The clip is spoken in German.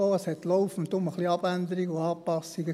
Denn es gab laufend ein wenig Abänderungen und Anpassungen.